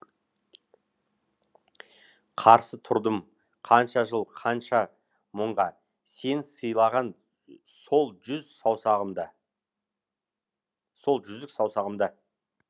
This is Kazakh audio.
қарсы тұрдым қанша жыл қанша мұңға сен сыйлаған сол жүз саусағымда сол жүзік саусағымда